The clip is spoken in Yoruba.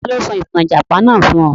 Ta ló sọ ìtàn Ìjàpá náà fún ọ?